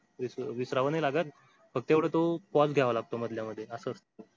विसरावं नाही लागत. फक्त एवढं तो pause घ्यावा लागतो मधल्या मधे असं असत.